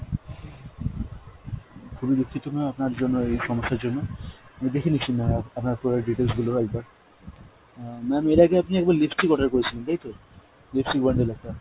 খুবই দুঃখিত ma'am আপনার জন্য, এই সমস্যার জন্য। আমি দেখে নিচ্ছি অ্যাঁ আপনার product details গুলো আরেকবার। অ্যাঁ ma'am এর আগে আপনি একবার lipstick order করেছিলেন তাইতো ? lipstick bundle একটা।